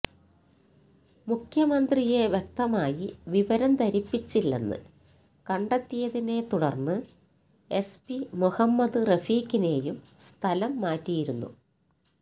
മുഖ്യമന്ത്രിയെ വ്യക്തമായി വിവരം ധരിപ്പിച്ചില്ലെന്ന് കണ്ടെത്തിയതിനെ തുടര്ന്ന് എസ് പി മുഹമ്മദ് റഫീഖിനെയും സ്ഥലം മാറ്റിയിരുന്നു